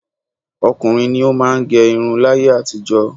Ọkùnrin ni ó máà ń gẹ irun láyé àtijọ́.